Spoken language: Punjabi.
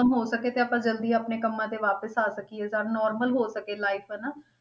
ਖ਼ਤਮ ਹੋ ਸਕੇ ਤੇ ਆਪਾਂ ਜ਼ਲਦੀ ਆਪਣੇ ਕੰਮਾਂ ਤੇ ਵਾਪਿਸ ਆ ਸਕੀਏ, ਸਭ normal ਹੋ ਸਕੇ life ਹਨਾ।